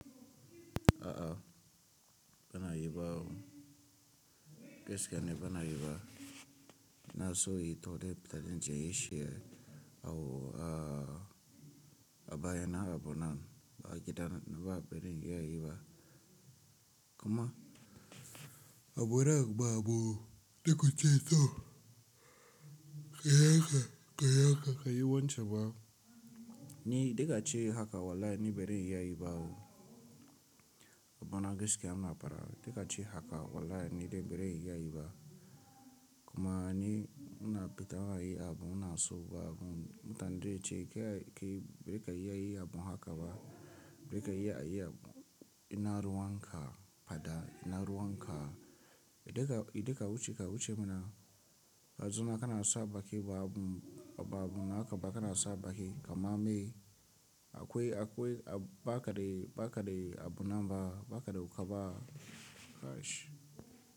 A'a, bana yi bawo, gaskiya ne bana yi ba. Na so yi toɗe da ran je in yi jin shi hawo ah a baya na abu nan ba a gidan na ba, bari in iya yi ba. Kuma abu re ba abu, da ka ce toh, ka yi haka, ka yi haka, ka yi wancan ba. Ni da ga ce haka wallahi ni bari in iya yi ba o. Abu na gaskiya ina fada. Da ga ci haka wallahi ni dai bari in iya yi ba. Kuma ni ina bi ta waye abu ina so ba abu. Na tande ce kai bari ka iya yi abu haka ba. Wai ka iya a yi abu ina ruwan ka fada, ina ruwan ka. Da ga idan ka wuce, ka wuce mana. Da zun ma kana sa baki ba abu, ba abu naka ba kana sa baki. Ama me? Akwai, akwai a ba ka dai, ba ka dai abu nan ba. Ba ka dai wu ka ba.